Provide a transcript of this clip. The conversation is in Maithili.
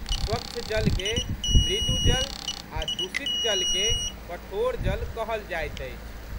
स्वच्छ जलके मृदुजल आ' दूषित जलके कठोर जल कहल जाइत अछि।